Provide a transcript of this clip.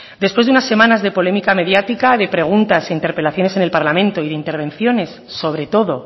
después de unas semanas de polémica mediática de preguntas e interpelaciones en el parlamento y de intervenciones sobre todo